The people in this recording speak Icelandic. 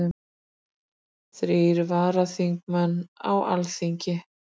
Þrír varaþingmenn á Alþingi